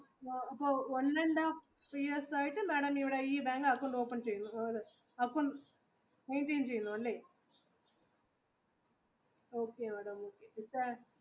one and half years ആയിട്ട് madam ഇവിടെ ഈ ബാങ്കിൽ അക്കൗണ്ട് open ചെയ്തു അപ്പൊ maintain ചെയ്തു അല്ലെ? okay madam